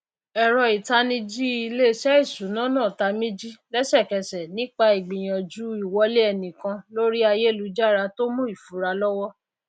ẹrọ ìtanijí ilésẹ ìsúná náà tamíjí lẹsẹkẹsẹ nípa ìgbìyànjú ìwọlé ẹnikan lórí ayélujára tó mú ìfura lọwọ